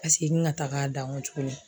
Ka segin ŋa tag'a da ŋo tuguni